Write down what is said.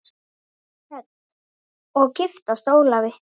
Hödd: Og giftast Ólafi?